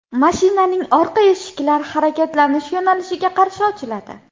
Mashinaning orqa eshiklar harakatlanish yo‘nalishiga qarshi ochiladi.